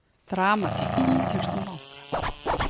Dramatík í ítölskum banka